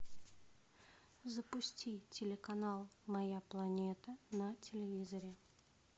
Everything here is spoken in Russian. запусти телеканал моя планета на телевизоре